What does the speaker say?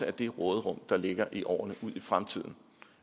af det råderum der ligger i årene ud i fremtiden